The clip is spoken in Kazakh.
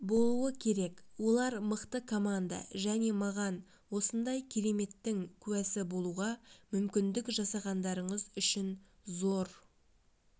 болуы керек олар мықты команда және маған осындай кереметтің куәсі болуға мүмкіндік жасағандарыңыз үшін зор